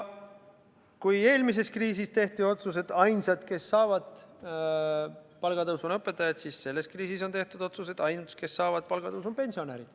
Eelmise kriisi ajal tehti otsus, et ainsad, kes saavad palgatõusu, on õpetajad, kuid selle kriisi ajal on tehtud otsus, et ainsad, kes saavad palgatõusu, on pensionärid.